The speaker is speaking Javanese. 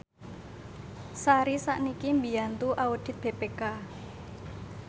Sari sakniki mbiyantu audit BPK